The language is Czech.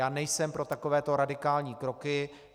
Já nejsem pro takovéto radikální kroky.